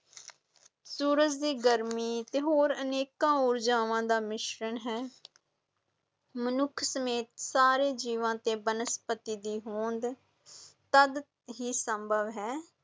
ਸੂਰਜ ਦੀ ਗਰਮੀ ਅਤੇ ਹੋਰ ਅਨੇਕਾਂ ਊਰਜਾਵਾਂ ਦਾ ਮਿਸ਼ਰਨ ਹੈ ਮਨੁੱਖ ਸਮੇਤ ਸਾਰੇ ਜੀਵਾਂ ਤੇ ਬਨਸਪਤੀ ਦੀ ਹੋਂਦ ਤਦ ਹੀ ਸੰਭਵ ਹੈ,